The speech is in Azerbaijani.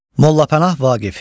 Molla Pənah Vaqif.